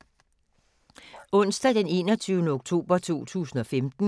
Onsdag d. 21. oktober 2015